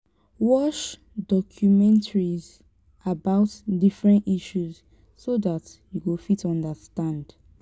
watch documentaries about different issues so dat you go fit understand